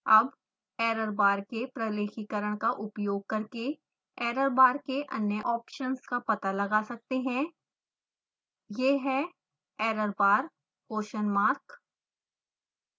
अब errorbar के प्रलेखीकरण का उपयोग करके errorbar के अन्य ऑप्शन्स का पता लगा सकते हैं